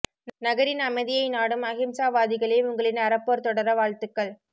நகரின் அமைதியை நாடும் அஹிம்சா வாதிகளே உங்களின் அறப்போர் தொடர வாழ்த்துக்கள்